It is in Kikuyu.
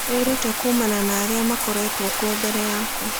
Wĩrute kuumana na arĩa makoretwo kuo mbere yaku.